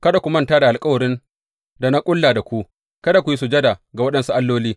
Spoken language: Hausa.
Kada ku manta da alkawarin da na ƙulla da ku, kada ku yi sujada ga waɗansu alloli.